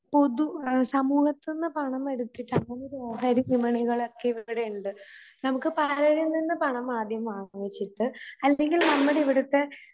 പൊതു സമൂഹത്തൂന്ന് പണം വരുത്തീട്ട് അങ്ക്ലായർ വ്യാപാര വിപണികളൊക്കെ ഇവിടെയുണ്ട്. നമുക്ക് ബാങ്കീന്ന് വാങ്ങിച്ചിട്ട് അല്ലെങ്കിൽ നമ്മടിവിടുത്തെ